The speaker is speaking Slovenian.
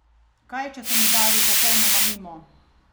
Kaj če sem udaril popolnoma mimo?